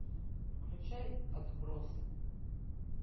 включай отбросы